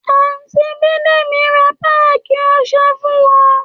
Àńtì bidemi rà pàkí ọsé fun wà